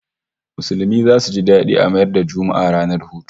Musulmi zasu ji dadi a mayar da Juma'a ranar hutu